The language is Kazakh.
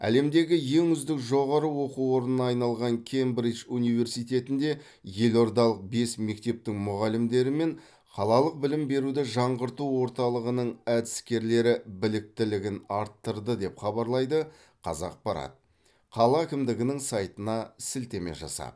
әлемдегі ең үздік жоғары оқу орнына айналған кембридж университетінде елордалық бес мектептің мұғалімдері мен қалалық білім беруді жаңғырту орталығының әдіскерлері біліктілігін арттырды деп хабарлайды қазақпарат қала әкімдігінің сайтына сілтеме жасап